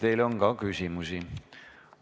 Teile on ka küsimusi.